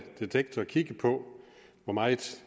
detektor kigge på hvor meget